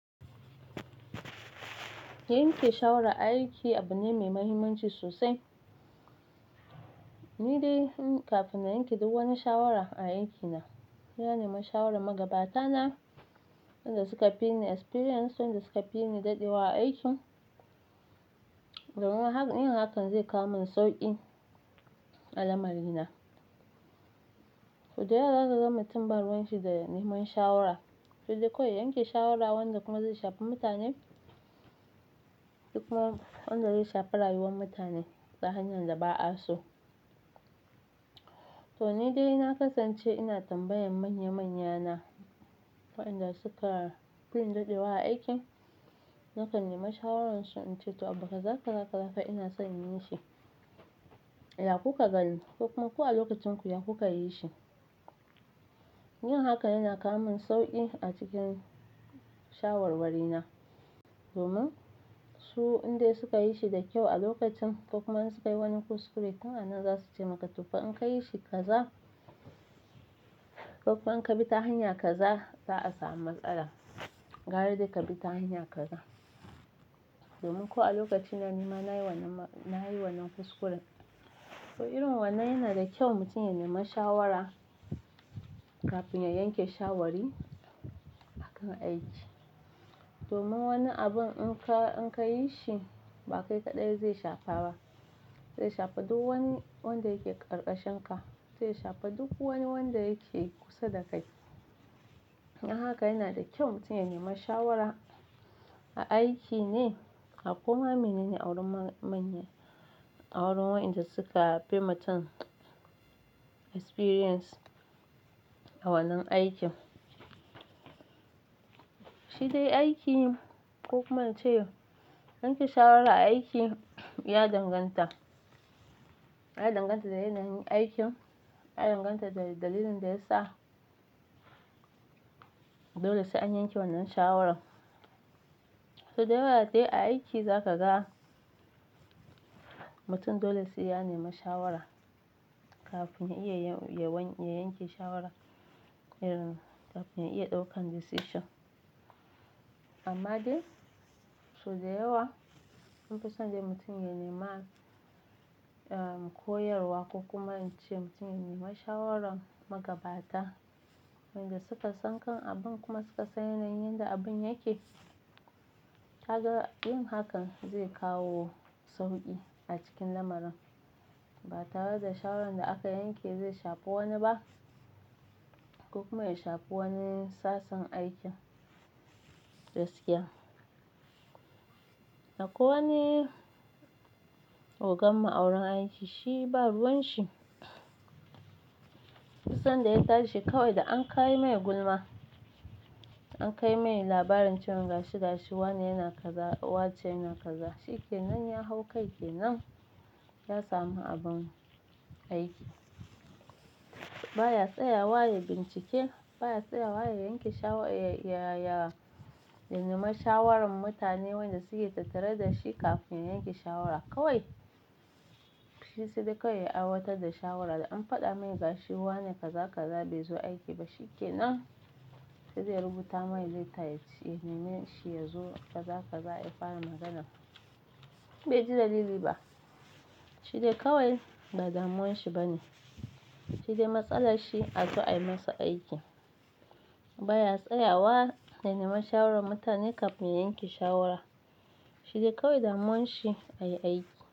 Yanke shawara aiki abu ne mai mahimmanci sosai. Ni dai kafin na yanke duk wani shawara a aikina, sai na nema shawaran magabata na, wanda suka fi ni experience, wanda suka fi ni daɗewa a aikin. Domin haka, yin hakan zai kawo min sauƙi a lamari na. Sau da yawa zaka ga mutum ba ruwan shi da neman shawara. Sai dai kawai ya yanke shawara wanda kuma zai shafi mutane, ko kuma ma wanda zai shafi rayuwar mutane ta hanyar da ba'a so. To ni dai na kasance ina tambayan manya-manya na, waɗanda suka fi ni daɗewa a aikin, nakan nemi shawararsu in ce to abu kaza kaza zaka haka ina son in yi shi, ya kuka gani ko kuma ku a lokacin ku ya kuka yi shi. Yin hakan yana kawo min sauƙi a cikin shawarwari na, domin su indai suka yi shi da kyau a lokacin, ko kuma in suka yi wani kuskure, tun anan za su ce maka to fa in ka yi shi kaza ko kuma in ka bi ta hanya kaza, za a samu matsala. Gara dai ka bi ta hanya kaza. Domin ko a lokacin nan nima na yi wannan, na yi wannan kuskuren. To irin wannan yana da kyau mutum ya nema shawara kafin ya yanke shawari a kan aiki. Domin wani abin in ka, in ka yi shi ba kai kaɗai zai shafa ba. Zai shafa duk wani wanda yake ƙarƙashin ka, zai shafa duk wani wanda yake kusa da kai. Dan haka yana da kyau mutum ya nema shawara a aiki ne, a ko ma menene a wurin manya, awurin waɗanda suka fi mutum experience a wannan aikin. Shi dai aiki ko kuma in ce yanke shawara aiki, ya danganta. Ya danganta da yanayin aikin, ya danganta da dalilin da ya sa dole sai an yanke wannan shawarar. Sau da yawa dai a aiki zaka ga mutum dole sai ya nema shawara kafin ya iya ya yanke shawara, kafin ya iya ɗaukan decision. Amma dai, sau da yawa an fi son dai mutum ya nema, eh, koyarwa ko kuma in ce mutum ya nema shawaran magabata wanda suka san kan abin kuma suka san yanayin yanda abin yake. Kaka, yin hakan zai kawo sauƙi a cikin lamarin. Ba tare da shawarar da aka yanke zai shafi wani ba, ko kuma ya shafi wani sassan aikin gaskiya. A kwai wani ogan mu a wurin aiki shi ba ruwan shi. Duk sanda ya tashi kawai da an kai mai gulma. An kai mai labarin cewan gashi gashi wane yana kaza, wace yana kaza. Shi kenan ya hau kai kenan, ya samu abin aiki. Ba ya tsayawa ya bincike, ba ya tsayawa ya yanke shawa, ya, ya nema shawaran mutane wanda suke tattare da shi kafin ya yanke shawara kawai. Shi sai dai kawai ya aiwatar da shawara da an faɗa mai gashi wane kaza kaza bai zo aiki ba. Shi kenan sai dai ya rubuta mai leta, ya neme shi ya zo kaza kaza ya fara magana. Bai ji dalili ba. Shi dai kawai ba damuwan shi ba ne. Shi dai matsalar shi a zo a yi masa aiki. Ba ya tsayawa ya nema shawaran mutane kafin ya yanke shawara. Shi dai kawai damuwan shi a yi aiki.